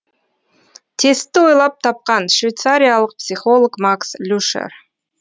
тестті ойлап тапқан швейцариялық психолог макс люшер